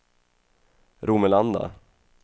Romelanda